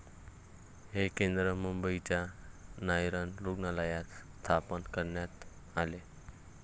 हे केंद्र मुंबईच्या नायर रुग्णालयात स्थापन करण्यात आले.